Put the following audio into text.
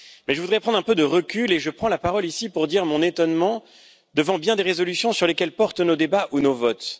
Je voudrais prendre un peu de recul et je prends la parole ici pour dire mon étonnement devant bien des résolutions sur lesquelles portent nos débats ou nos votes.